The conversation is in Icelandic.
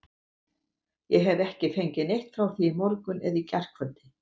Ég hef ekki fengið neitt frá því í morgun eða gærkvöldi.